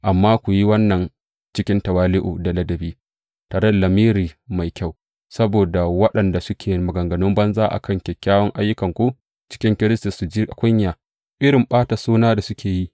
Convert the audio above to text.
Amma ku yi wannan cikin tawali’u da ladabi, tare da lamiri mai kyau, saboda waɗanda suke maganganun banza a kan kyawawan ayyukanku cikin Kiristi su ji kunya da irin ɓata suna da suke yi.